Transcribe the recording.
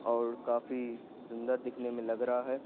और काफीसुंदर दिखने में लग रहा है।